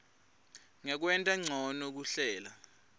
ngekwenta ncono kuhlela